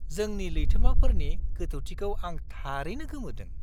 जोंनि लैथोमाफोरनि गोथौथिखौ आं थारैनो गोमोदों।